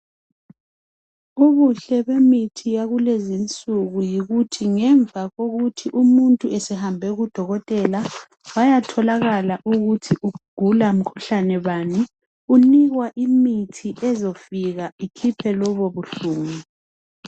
Ubuhle bemithi yalezinsuku yikuthi ngemva kokuthi umuntu esehambe kudokotela wayatholakala ukuthi ugula mkhuhlane bani unikwa imithi ezofika ikhiphe lobo buhlungu.